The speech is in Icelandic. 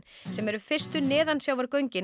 sem eru fyrstu